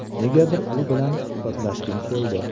Negadir u bilan suhbatlashgim keldi.